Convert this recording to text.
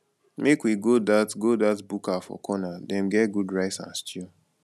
make we go dat go dat buka for corner dem get good rice and stew